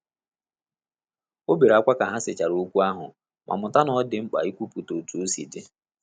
O bere akwa ka ha sechara okwu ahụ ma mụta na ọ dị mkpa ikwuputa otu osi di